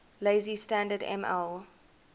lazy standard ml